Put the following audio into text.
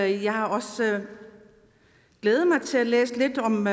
jeg også havde glædet mig til at læse lidt om